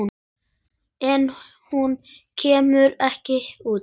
En hún kemur ekki út.